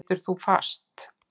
Situr þar fast.